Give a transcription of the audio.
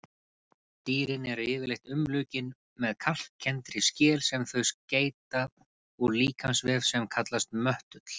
Dýrin eru yfirleitt umlukin með kalkkenndri skel sem þau seyta úr líkamsvef sem kallast möttull.